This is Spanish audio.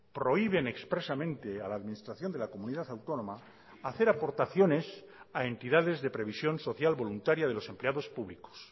prohíben expresamente a la administración de la comunidad autónoma hacer aportaciones a entidades de previsión social voluntaria de los empleados públicos